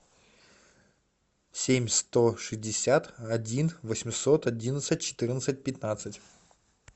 семь сто шестьдесят один восемьсот одиннадцать четырнадцать пятнадцать